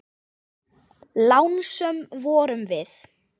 Lánsöm vorum við.